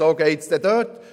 Weshalb geht das dort?